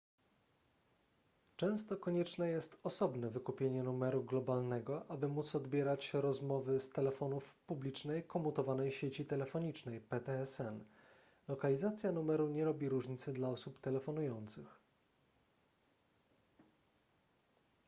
często konieczne jest osobne wykupienie numeru globalnego aby móc odbierać rozmowy z telefonów w publicznej komutowanej sieci telefonicznej ptsn. lokalizacja numeru nie robi różnicy dla osób telefonujących